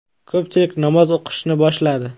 Ko‘pchilik namoz o‘qishni boshladi.